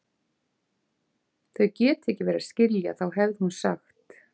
Þau geta ekki verið að skilja, þá hefði hún ekki sagt